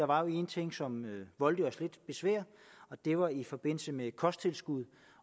var en ting som voldte os lidt besvær og det var i forbindelse med kosttilskud